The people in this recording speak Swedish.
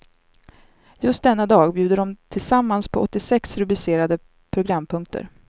Just denna dag bjuder de tillsammans på åttiosex rubricerade programpunkter.